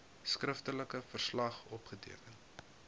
skriftelike verslag opgeteken